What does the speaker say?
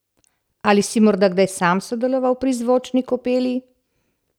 Ali si morda kdaj sam sodeloval pri zvočni kopeli?